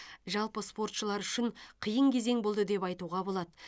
жалпы спортшылар үшін қиын кезең болды деп айтуға болады